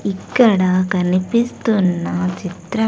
ఇక్కడ కనిపిస్తున్న చిత్ర.